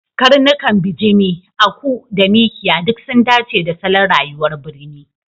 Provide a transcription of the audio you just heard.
Karnukan bijimi, aku da Mikiya duk sun dace da salon rayuwar birni.